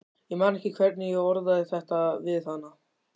Ég man ekki hvernig ég orðaði þetta við hana.